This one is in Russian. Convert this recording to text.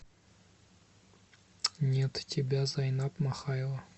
нет тебя зайнаб махаева